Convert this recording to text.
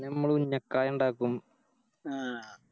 പിന്ന ഞമ്മള് ഉന്നക്കായി ഇണ്ടാക്കും ആഹ്